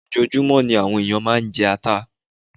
Ojoojúmọ́ ní àwọn ènìyàn máa ń jata